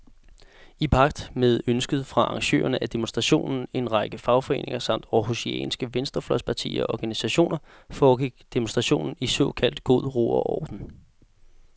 I pagt med ønsket fra arrangørerne af demonstrationen, en række fagforeninger samt århusianske venstrefløjspartier og organisationer, foregik demonstrationen i såkaldt god ro og orden.